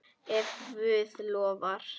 Ef Guð lofar.